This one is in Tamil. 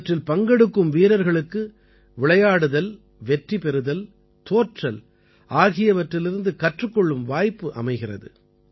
இவற்றில் பங்கெடுக்கும் வீரர்களுக்கு விளையாடுதல் வெற்றி பெறுதல் தோற்றல் ஆகியவற்றிலிருந்து கற்றுக் கொள்ளும் வாய்ப்பு அமைகிறது